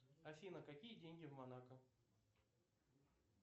афина какие деньги в монако